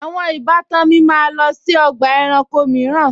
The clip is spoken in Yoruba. Àwọn ìbátan mi máa lọ sí ọgbà ẹranko mìíràn